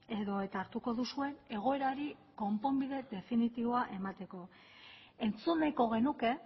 edo eta hartuko duzue egoerari konponbide definitiboa emateko entzun nahiko genuke